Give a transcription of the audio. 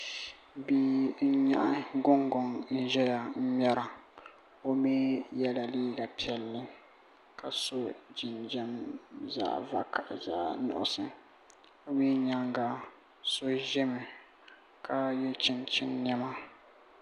Bia n nyaɣa gungoŋ ʒɛya ŋmɛra o mii yɛla liiga piɛlli ka so jinjɛm zaɣ nuɣso o mii nyaanga so ʒɛmi ka yɛ chinchin niɛma